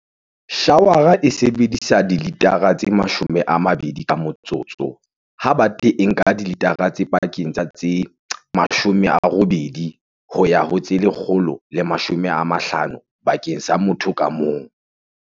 Shawara e sebedisa di litara tse 20 ka motsotso, ha bate e nka dilitara tse pakeng tsa tse 80 ho ya ho tse 150 bakeng sa motho ka mong.